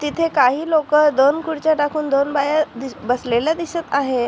तिथे काही लोक दोन खुर्च्या टाकून दोन बाया बसलेले दिसत आहे.